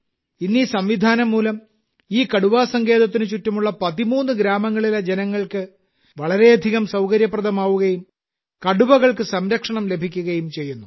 ഇന്ന് ഈ സംവിധാനം മൂലം ഈ കടുവാ സങ്കേതത്തിന് ചുറ്റുമുള്ള 13 ഗ്രാമങ്ങളിലെ ജനങ്ങൾക്ക് വളരെയധികം സൌകര്യപ്രദമാവുകയും കടുവകൾക്കും സംരക്ഷണം ലഭിക്കുകയും ചെയ്യുന്നു